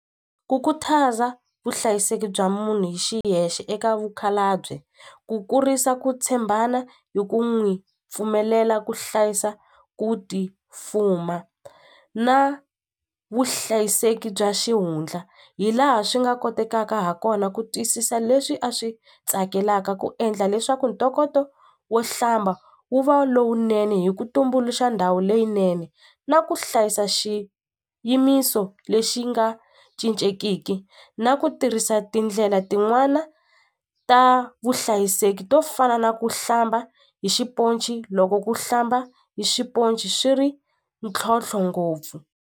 Ku khutaza vuhlayiseki bya munhu hi xiyexe eka vakhalabye ku kurisa ku tshembana hi ku n'wi pfumelela ku hlayisa ku ti fuma na vuhlayiseki bya xihundla hi laha swi nga kotekaka ha kona ku twisisa leswi a swi tsakelaka ku endla leswaku ntokoto wo hlamba wu va lowunene hi ku tumbuluxa ndhawu leyinene na ku hlayisa xi yimiso lexi nga cincekiki na ku tirhisa tindlela tin'wana ta vuhlayiseki to fana na ku hlamba hi xiponci loko ku hlamba hi xiponci swi ri ntlhontlho ngopfu.